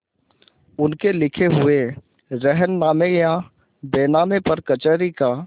उनके लिखे हुए रेहननामे या बैनामे पर कचहरी का